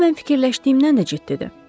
Bu mən fikirləşdiyimdən də ciddidir.